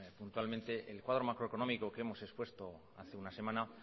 puntualmente el cuadro macroeconómico que hemos expuesta hace una semana